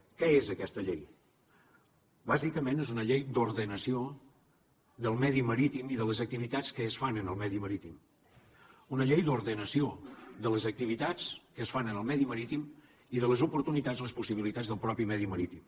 què és aquesta llei bàsicament és una llei d’ordenació del medi marítim i de les activitats que es fan en el medi marítim una llei d’ordenació de les activitats que es fan en el medi marítim i de les oportunitats les possibilitats del mateix medi marítim